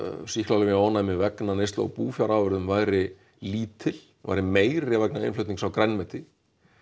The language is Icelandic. sýklalyfjaónæmi vegna búfjárafurða væri lítil væri meiri vegna innflutnings á grænmeti